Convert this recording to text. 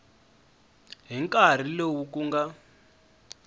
hi nkarhi lowu ku nga